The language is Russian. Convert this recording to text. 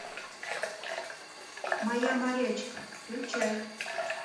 моя морячка включай